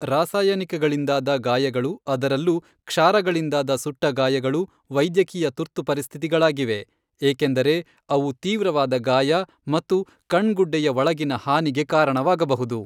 ರಾಸಾಯನಿಕಗಳಿಂದಾದ ಗಾಯಗಳು, ಅದರಲ್ಲೂ ಕ್ಷಾರಗಳಿಂದಾದ ಸುಟ್ಟಗಾಯಗಳು ವೈದ್ಯಕೀಯ ತುರ್ತುಪರಿಸ್ಥಿತಿಗಳಾಗಿವೆ, ಏಕೆಂದರೆ ಅವು ತೀವ್ರವಾದ ಗಾಯ ಮತ್ತು ಕಣ್ಗುಡ್ಡೆಯ ಒಳಗಿನ ಹಾನಿಗೆ ಕಾರಣವಾಗಬಹುದು.